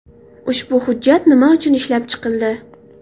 Ushbu hujjat nima uchun ishlab chiqildi?